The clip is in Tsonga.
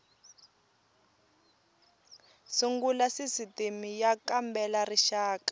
sungula sisitimi y kambela rixaka